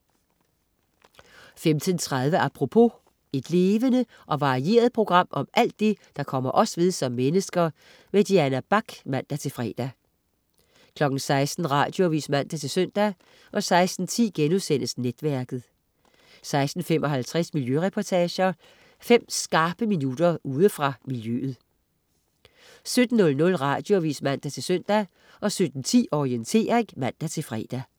15.30 Apropos. Et levende og varieret program om alt det, der kommer os ved som mennesker. Diana Bach (man-fre) 16.00 Radioavis (man-søn) 16.10 Netværket* 16.55 Miljøreportager. Fem skarpe minutter ude fra miljøet 17.00 Radioavis (man-søn) 17.10 Orientering (man-fre)